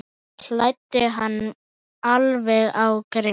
Kældu hann alveg á grind.